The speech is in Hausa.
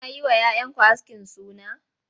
Kuna yi wa 'ya 'yanku askin suna?